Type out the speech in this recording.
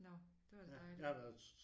Nåh det var da dejligt